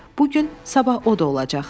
Bu gün, sabah o da olacaq.